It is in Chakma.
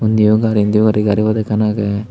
indio gari di garipod ekkan agey.